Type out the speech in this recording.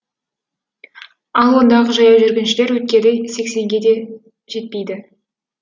ал ондағы жаяу жүргіншілер өткелі сексенге де жетпейді